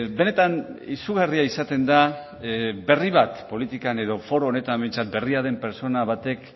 benetan izugarria izaten da berri bat politikan edo foro honetan behintzat berria den pertsona batek